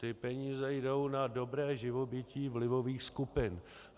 Ty peníze jdou na dobré živobytí vlivových skupin.